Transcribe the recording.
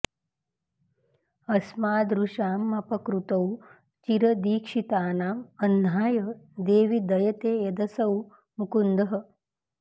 अस्मादृशामपकृतौ चिर दीक्षितानां अह्नाय देवि दयते यदसौ मुकुन्दः